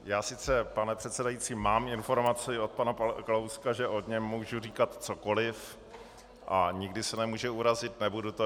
Já sice, pane předsedající, mám informaci od pana Kalouska, že o něm mohu říkat cokoliv a nikdy se nemůže urazit, nebudu to.